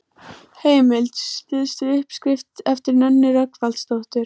Heimild: Stuðst við uppskrift eftir Nönnu Rögnvaldsdóttur.